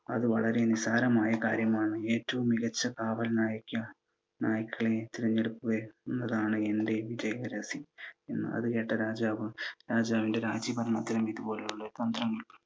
അത് വളരെ നിസ്സാരമായ കാര്യമാണ്. ഏറ്റവും മികച്ച കാവൽ നായ്ക്കളെ തിരഞ്ഞെടുക്കുക എന്നതാണ് എൻ്റെ വിജയ രഹസ്യം എന്ന്. അത് കേട്ട രാജാവ് രാജാവിൻ്റെ രാജ്യഭരണത്തിനും ഇതുപോലുള്ള തന്ത്രങ്ങൾ